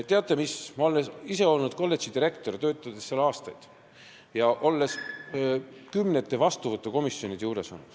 Teate mis, ma olen ise olnud kolledži direktor, töötasin seal aastaid ja olin kümnetes vastuvõtukomisjonides.